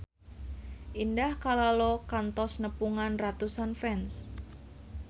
Indah Kalalo kantos nepungan ratusan fans